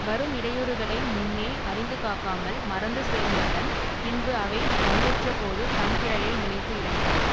வரும் இடையூறுகளை முன்னே அறிந்துக் காக்காமல் மறந்து சோர்ந்தவன் பின்பு அவை வந்துற்றபோது தன் பிழையை நினைத்து இரங்குவான்